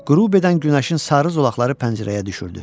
Qürub edən günəşin sarı zolaqları pəncərəyə düşürdü.